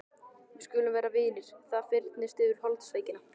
Við skulum vera vinir og það fyrnist yfir holdsveikina.